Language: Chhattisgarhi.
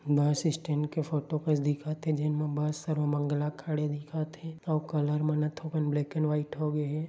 बस स्टैण्ड के फोटो कस दिखत हे जेन म बस सर्वमंगला खड़े दिखत हे आऊ कलर मन ह थोड़कन ब्लैक एंड व्हाइट होगे हे ।